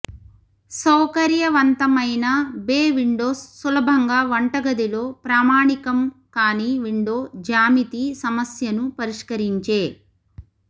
సౌకర్యవంతమైన bay windows సులభంగా వంటగదిలో ప్రామాణికం కాని విండో జ్యామితి సమస్యను పరిష్కరించే